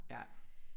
Ja